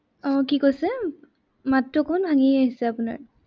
আহ কি কৈছে উম মাততো অকনমান ভাঙি আহিছে আপোনাৰ।